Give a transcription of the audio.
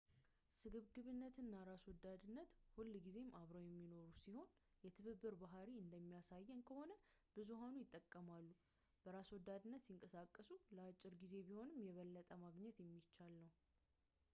ስግብግነትና ራስወዳድነት ሁልጊዜ አብረውን የሚኖሩ ሲሆን የትብብር ባህርይ እንደሚያሳየን ከሆነ ብዙሀኑ ይጠቀማሉ በራስ ወዳድነት ሲንቀሳቀሱ ለአጭር ጊዜ ቢሆንም የበለጠ ማግኘት የሚቻል ነው